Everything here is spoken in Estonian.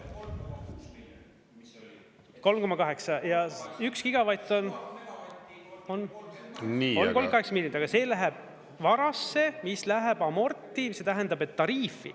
3,8 ja üks gigavatt on 38 miljonit, aga see läheb varasse, mis läheb amorti, see tähendab, et tariifi.